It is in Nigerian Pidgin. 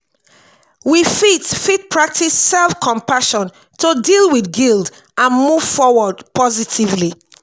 we fit fit practice self-compassion to deal with guilt and move forward positively.